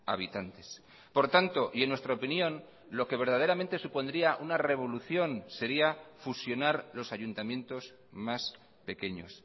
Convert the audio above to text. habitantes por tanto y en nuestra opinión lo que verdaderamente supondría una revolución sería fusionar los ayuntamientos más pequeños